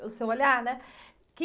O seu olhar, né? O que...